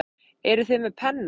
Eruð þið með penna?